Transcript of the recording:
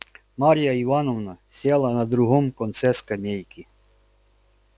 марья ивановна села на другом конце скамейки